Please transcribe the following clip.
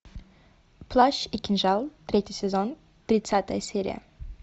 плащ и кинжал третий сезон тридцатая серия